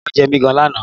Ẹ̀fọn jẹ mi gan lánàá